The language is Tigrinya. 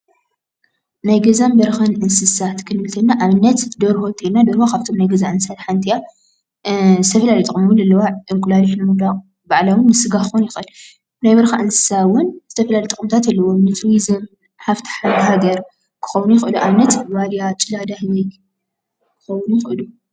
ናይ ገዛን በረካን እንስሳት ክንብል ከለና ኣብነት ደርሆ እንተይልና ደርሆ ካብቶም ናይ ገዛ እንስሳት ሓንቲ እያ፡፡ ዝተፈላለዩ ጥቅምታት እውን ኣለዋ፡፡ እንቁላሊሕ ብምውዳቅ ባዕሉ እውን ንስጋ ክኮን ይክእል፡፡ ናይ በረካ እንስሳ እውን ዝተፈላለዩ ጥቅምታት ኣለዉዎም፡፡ ሃፍቲ ሃገር ይክእል፡፡ ኣብነት ዋልያ፣ ጭላዳ ህበይ ክኮውን ይክእል እዩ፡፡